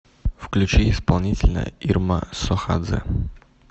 включи исполнителя ирма сохадзе